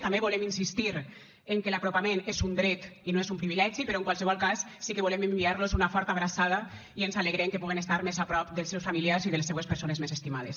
també volem insistir en que l’apropament és un dret i no és un privilegi però en qualsevol cas sí que volem enviar los una forta abraçada i ens alegrem que pugan estar més a prop dels seus familiars i de les seues persones més estimades